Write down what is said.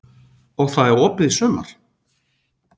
Og það er opið í sumar?